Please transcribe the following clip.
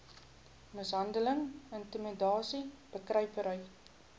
mishandeling intimidasie bekruipery